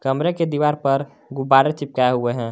कमरे के दीवार पर गुब्बारे चिपकाए हुए हैं।